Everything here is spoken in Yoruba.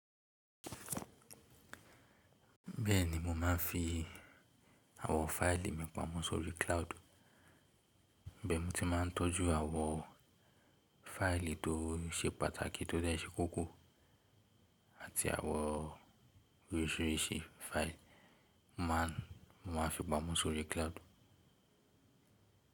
Bẹ́ẹ̀ni mo máa ń fi àwọn fáìlì mi pamọ́ sórí cloud. Ibẹ̀ mo ti máa ń tọ́jú àwọn fáìlì tó ṣe pàtàkì tó dẹ ṣe kókó àti àwọn oríṣiríṣi fáìlì, màá fi pamọ́ sórí cloud.